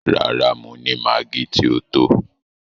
Rárá, mo ni maggi ti o tó.